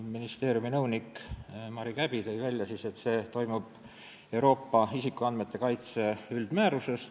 Ministeeriumi nõunik Mari Käbi tõi välja, et see säte tuleb Euroopa isikuandmete kaitse üldmäärusest.